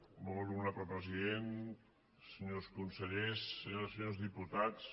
molt honorable president senyors conse·llers senyores i senyors diputats